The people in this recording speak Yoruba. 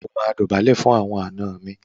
O máa dọ̀bálẹ̀ fún àwọn àna mi.